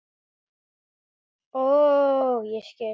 Ó, ég skil!